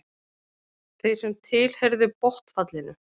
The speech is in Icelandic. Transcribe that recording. Þeir sem tilheyrðu botnfallinu.